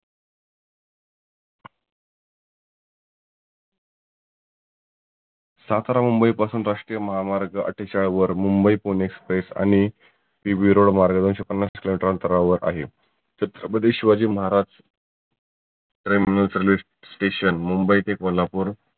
सातारा मुंबई पासुन राष्ट्रीय महामार्ग आठ्ठेचाळ वर मुंबई पुणे express आणि ही विरुळ मार्ग दोनशे पन्नास किलो मिटर अंतरावर आहे. छत्रपती शिवाजी महाराज station मुंबई ते कोल्हापुर